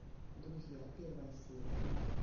друзья первая серия